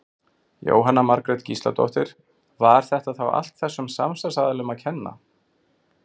Jóhanna Margrét Gísladóttir: Var þetta þá allt þessum samstarfsaðilum að kenna?